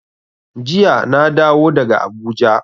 Jiya na dawo daga Abuja.